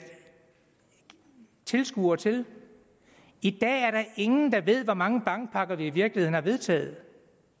tilskuere til i dag er der ingen der ved hvor mange bankpakker vi i virkeligheden har vedtaget